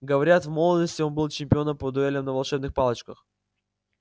говорят в молодости он был чемпионом по дуэлям на волшебных палочках